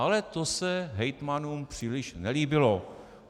Ale to se hejtmanům příliš nelíbilo.